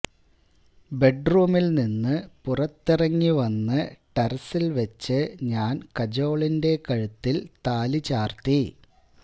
ബെഡ്റൂമിൽ നിന്ന് പുറത്തിറങ്ങി വന്ന് ടെറസിൽ വെച്ച് ഞാൻ കജോളിന്റെ കഴുത്തിൽ താലി ചാർത്തി